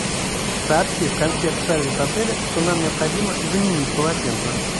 сообщи в консьерж сервис отеля что нам необходимо заменить полотенце